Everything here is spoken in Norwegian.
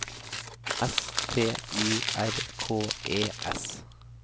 S T Y R K E S